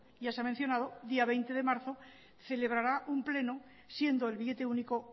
ya se ha mencionado día veinte de marzo celebrará un pleno siendo el billete único